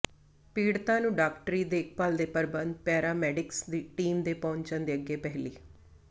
ਪੀੜਤਾ ਨੂੰ ਡਾਕਟਰੀ ਦੇਖਭਾਲ ਦੇ ਪ੍ਰਬੰਧ ਪੈਰਾਮੈਡਿਕਸ ਟੀਮ ਦੇ ਪਹੁੰਚਣ ਦੇ ਅੱਗੇ ਪਹਿਲੀ